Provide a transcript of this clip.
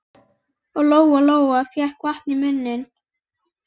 Og Lóa Lóa fékk vatn í munninn.